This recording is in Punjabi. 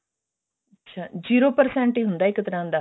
ਅੱਛਾ zero percent ਹੀ ਪੈਂਦਾ ਇੱਕ ਤਰ੍ਹਾਂ ਦਾ